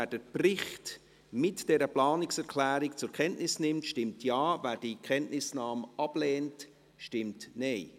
Wer den Bericht mit dieser Planungserklärung zur Kenntnis nimmt, stimmt Ja, wer diese Kenntnisnahme ablehnt, stimmt Nein.